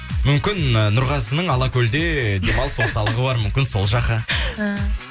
мүмкін ы нұрғазының алакөлде демалыс орталығы бар мүмкін сол жаққа ііі